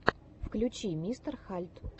включи мистер хальд